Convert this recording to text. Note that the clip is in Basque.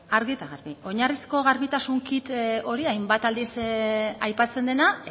argi eta garbi oinarrizko garbitasun kit hori hainbat aldiz aipatzen dena